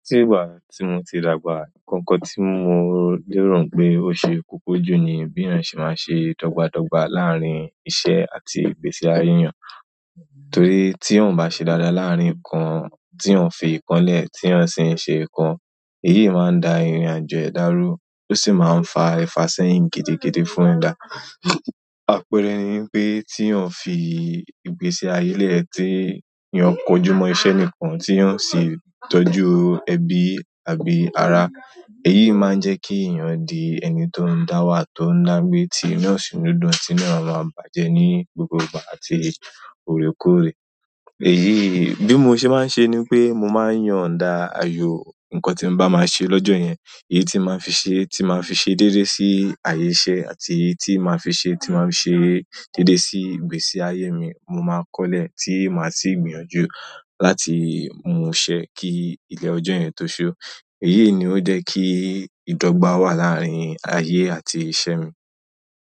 Tí ìgbà tí mo ti dàgbà, nǹkan kan tí mo lérò pé ó ṣe koko jù ni bí èèyàn ṣe máa ń ṣe dọ́gba dọ́gba láàárín iṣẹ́ àti ìgbésí ayé eyàn. Torí tí eeyan o bá ṣe dáadáa láàárín nǹkan tí eeyan fi ìkan lẹ̀, tí eeyan sì ń ṣe nǹkan, èyí máa ń da ìrìnàjò ẹ̀dá rú, ó sì máa ń fa ìfàsẹ́yìn gidi gidi fún ẹ̀dá. Àpẹẹrẹ ni wipé tí eeyan fi ìgbésí ayé ẹ́ tí eyan kojú mọ́ iṣẹ́ nìkan, tí eyan o sì tọ́jú ẹbí àbí ara, èyí máa ń jẹ́ kí èèyàn di ẹni tó ń dáwà tó ń dágbẹ́ tí inú òsi ní dún, tí inue máa ma bàjẹ́ ní gbogbo ìgbà àti òrékòrè. Èyí bí mo ṣe máa ń ṣe ni pé mo máa ń yonda àyò nkan tí n bá máa ṣe lọ́jọ́ yẹn, èyí tí màá fi ṣe tí màá fi ṣe déédé sí àyẹ́ iṣẹ́ àti èyí tí màá fi ṣe tí màá fi ṣe déédé sí ìgbésí ayé mi, mo máa kọ́lẹ̀ tí màá sì gbìyànjú láti mú un ṣẹ kí ilẹ̀ ọjọ́ yẹn tó ṣú. Èyí ni ó jẹ́ kí ìdọ́gba wà láàárín ayé àti iṣẹ́ mi.